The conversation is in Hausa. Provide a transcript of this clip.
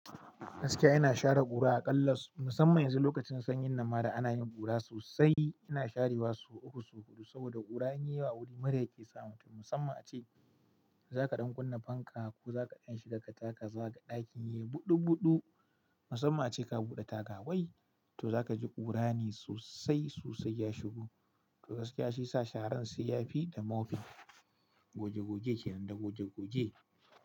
Gaskiya ina share ƙura aƙallas, musamman yanzu lokacin sanyin nan ma da ana yin ƙura sosai. Ina sharewa su uku, so huɗu saboda ƙura in yayi yawa a wuri murya ke sa mutum. Musamman ace za ka ɗan kunna fanka ko za ka dan shi ka taka za ka gan ɗakin yi buɗuɓuɗu. Musamman ace ka buɗe taga wai to za ka ji ƙura ne sosai sosai ya shigo. To gaskiya shi sa sharan sai ya fi da mofin. Goge goge kenan da goge goge.